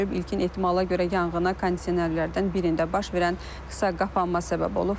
İlkin ehtimala görə yanğına kondisionerlərdən birində baş verən qısa qapanma səbəb olub.